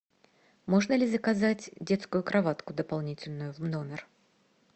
можно ли заказать детскую кроватку дополнительную в номер